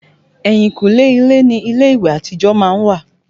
Ẹ̀yìnkùlé ilé ni ilé ìwẹ̀ àtijọ́ má ń wà